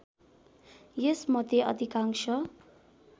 यस मध्ये अधिकांश